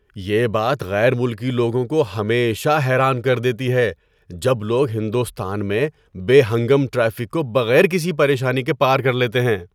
یہ بات غیر ملکی لوگوں کو ہمیشہ حیران کر دیتی ہے جب لوگ ہندوستان میں بے ہنگم ٹریفک کو بغیر کسی پریشانی کے پار کر لیتے ہیں۔